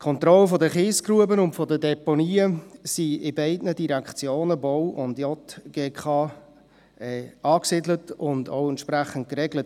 Die Kontrolle der Kiesgruben und der Deponien sind in den beiden Direktionen BVE und JGK angesiedelt und auch entsprechend geregelt.